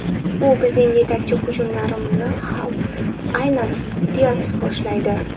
U bizning yetakchi, hujumlarni ham aynan Dias boshlaydi.